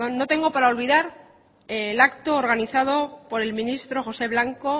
no tengo para olvidar el acto organizado por el ministro josé blanco